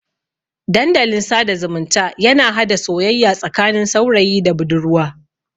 Dandalin sada zumunta yana hada soyayya tsakanin saurayi da budurwa.